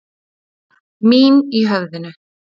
Mín í höfðinu.